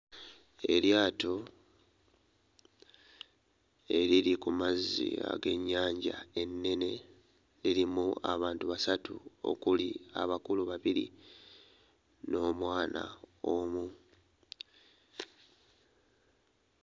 Eryato eriri ku mazzi ag'ennyanja ennene lirimu abantu basatu okuli abakulu babiri n'omwana omu.